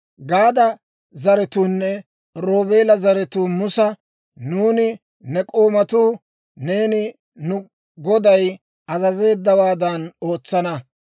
Gaada zaratuunne Roobeela zaratuu Musa, «Nuuni ne k'oomatuu neeni nu goday azazeeddawaadan ootsana.